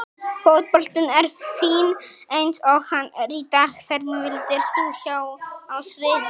Fótboltinn er fínn eins og hann er í dag Hvern vildir þú sjá á sviði?